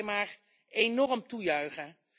Ik kan dat alleen maar enorm toejuichen.